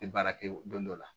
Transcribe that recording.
tɛ baara kɛ don dɔ la